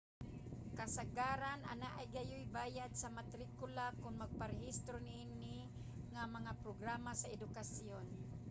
kasagaran anaa gayuy bayad sa matrikula kon magparehistro niini nga mga programa sa edukasyon